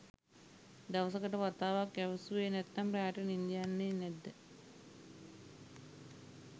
දවසකට වතාවක් ඇවිස්සුවෙ නැත්තම් රෑට නින්ද යන්නෙ නැද්ද?